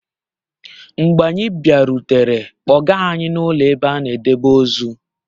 Mgbe anyị bịarutere, kpọga anyị n'ụlọ ebe a na-edebe ozu.